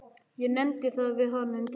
Ég nefndi það við hana um daginn.